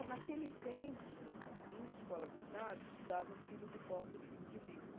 E, naquele tempo, em escola do Estado, eu estudava filho de pobre e filho de rico.